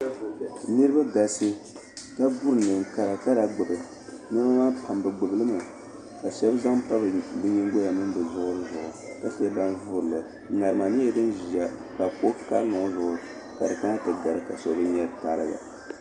Niriba n-galisi ka bo neen'kara kara gbubi nɛma maa pam be gbubi li mi ka shɛba zaŋ pa be nyingoya ni be zuɣiri ka che ban vuurili nama nyɛla din ʒiya ka kuɣa karili ŋɔ ka di kana ti gari ka so be nyɛ di tariga.